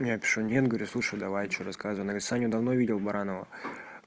я пишу нет говорю слушай давай что рассказывай саню давно видел баранова